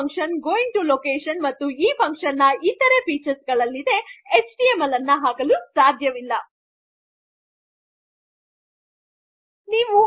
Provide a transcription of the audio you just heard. ಮತ್ತು ನೀವು ಲೊಕೇಷನ್ ಗೆ ಹೋಗಿ ಮತ್ತು ಇದರ ಇತರ ವೈಶಿಷ್ಟ್ಯ ಕಾರ್ಯಗಳಿಗೆ ಹೋಗಿ ಎಚ್ಟಿಎಮ್ಎಲ್ ಅನ್ನು ಹೆಡ್ಡರ್ ಫಂಕ್ಷನ್ ಮುಂದೆ ಹಾಕಲು ಆಗುವುದಿಲ್ಲ